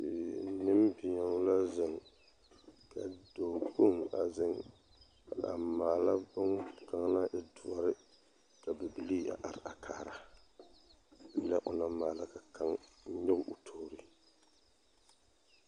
Nembeo la zeŋ ka dɔɔkpoŋ a zeŋ a maala bone kaŋa naŋ e doɔre ka bibilii a are a kaara lɛ o naŋ maala ka kaŋ nyɔɡe o toori .